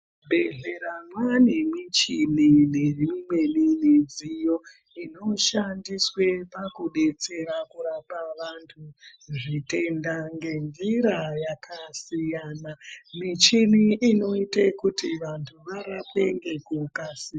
Muzvibhehlera mave nemuchini nedzimweni midziyo inoshandiswa pakudetsera kurapa vantu zvitenda ngenzira yakasiyana muchini inoita kuti vantu varapwe nekukasira.